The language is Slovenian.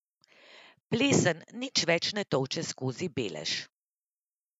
Plesen nič več ne tolče skozi belež.